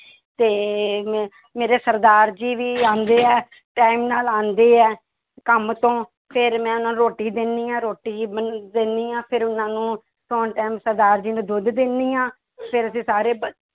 ਤੇ ਮੇ~ ਮੇਰੇ ਸਰਦਾਰ ਜੀ ਵੀ ਆਉਂਦੇ ਹੈ time ਨਾਲ ਆਉਂਦੇ ਹੈ ਕੰਮ ਤੋਂ ਫਿਰ ਮੈਂ ਉਹਨਾਂ ਰੋਟੀ ਦਿੰਦੀ ਹਾਂ ਰੋਟੀ ਦਿੰਦੀ ਹਾਂ ਫਿਰ ਉਹਨਾਂ ਨੂੰ ਸੌਣ time ਸਰਦਾਰ ਜੀ ਨੂੰ ਦੁੱਧ ਦਿੰਦੀ ਹਾਂ ਫਿਰ ਅਸੀਂ ਸਾਰੇ ਬ~